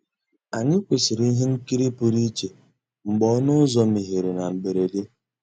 Ànyị́ kwụ́sị́rí íhé nkírí pụ́rụ́ íchè mgbeé ọnụ́ ụ́zọ̀ meéghéré ná mbérèdé.